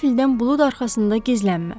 Qəfildən bulud arxasında gizlənmə.